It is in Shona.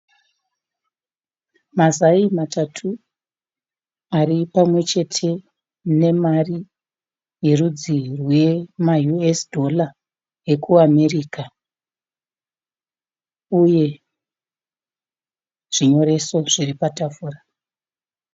Mazai matatu ari pamwechete, mune mari yerudzi rwe ma usd eku America uye, zvinyoreso zviri patafura.